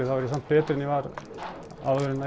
þá er ég samt betri en ég var áður en